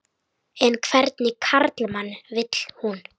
En hvernig karlmann vil hún?